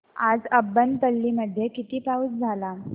आज अब्बनपल्ली मध्ये किती पाऊस झाला